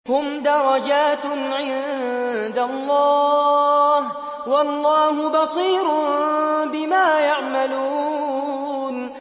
هُمْ دَرَجَاتٌ عِندَ اللَّهِ ۗ وَاللَّهُ بَصِيرٌ بِمَا يَعْمَلُونَ